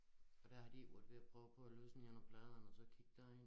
Og der har de ikke været ved at prøve på at løsne nogen af pladerne og så kigge derind?